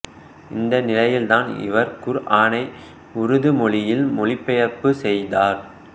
இந்த நிலையில் தான் இவர் குர்ஆனை உருது மொழியில் மொழிபெயர்ப்பு செய்தார்